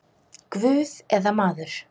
Guð eða maður?